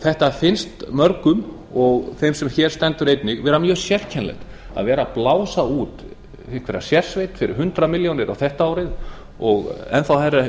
mörgum finnst og einnig þeim sem hér stendur þetta vera mjög sérkennilegt að vera að blása út einhverja sérsveit fyrir hundrað milljónir þetta árið og enn þá hærri